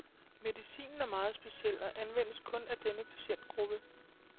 Medicinen er meget speciel, og anvendes kun af denne patientgruppe.